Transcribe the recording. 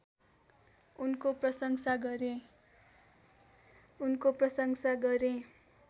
उनको प्रशंसा गरे